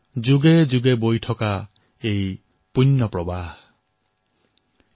যুগ যুগ মে বহতা আতা য়হ পুণ্য প্ৰবাহ হামাৰা